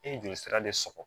E ye joli sira de sɔrɔ